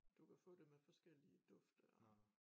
Du kan få det med forskellige dufte og